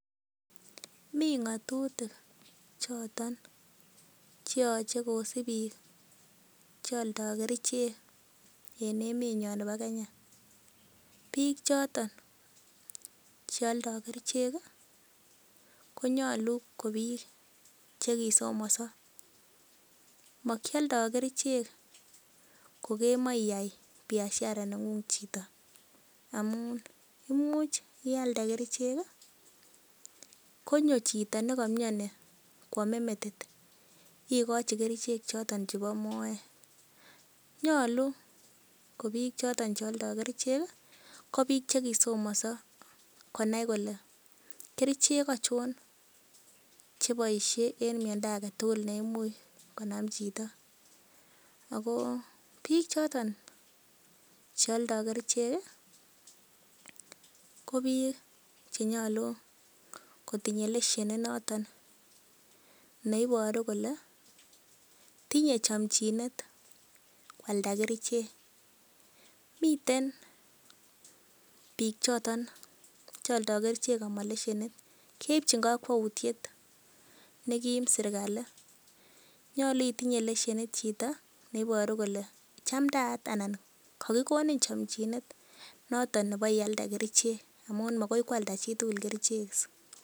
Mi ng'atutik choton che yoch ekosib biik che oldoi kerichek en emenyin nebo Kenya. Biik choton ch eoldoi kerichek konyolu kobiik che kisomonso. Mokioldo kerichek kokemoche iyai biashara neng'ung chito amun imuch ialde kerichek konyo chito ne komioni koame metit igochi kerichek choto chebo moet. Nyolu ko biik choto che oldo kerichek ko biik che kisomonso koonai kole kerichek achon cheboisie en miondo age tugul neimuch konam chito ago biiik choton che oldo kerichek ko biik che nyolu kotinye lesenit noto ne iboru kole tinye chomchinet koalda kerichek. Miten biik choton che oldoi kerichek ama lesenit, keipchin kakwauitiet nekim serkalit nyolu itinye lesenit chito neiboru kole chamdaat anan kogikonin chomchinet noton nebo ialde kerichek amun mogoi koalda chitugul kerichek.